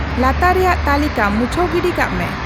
ᱞᱟᱛᱟᱨ ᱨᱮᱭᱟᱜ ᱛᱟᱹᱠᱤᱞᱟ ᱢᱩᱪᱷᱟᱹᱣ ᱜᱤᱰᱤ ᱠᱟᱜ ᱢᱮ